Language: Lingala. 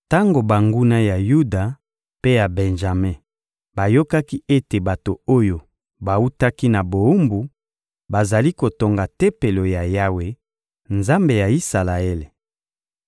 Tango banguna ya Yuda mpe ya Benjame bayokaki ete bato oyo bawutaki na bowumbu bazali kotonga Tempelo ya Yawe, Nzambe ya Isalaele,